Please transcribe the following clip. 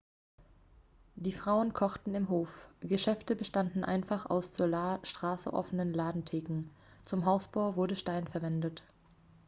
die frauen kochten im hof geschäfte bestanden einfach aus zur straße offenen ladentheken zum hausbau wurde stein verwendet